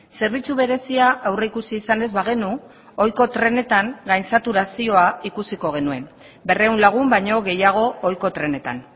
zerbitzu berezia aurreikusi izan ez bagenu ohiko trenetan gain saturazioa ikusiko genuen berrehun lagun baino gehiago ohiko trenetan